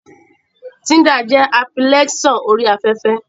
Tinder jẹ́ apilikéṣọ̀n orí afẹ́fẹ́